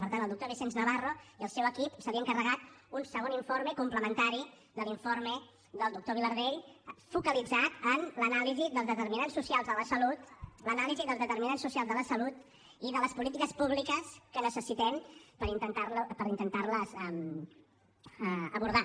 per tant al doctor vicenç navarro i al seu equip se li ha encarregat un segon informe complementari a l’informe del doctor vilardell focalitzat en l’anàlisi dels determinants socials de la salut i de les polítiques públiques que necessitem per intentar les abordar